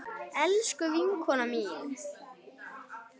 Elsku vinkona mín.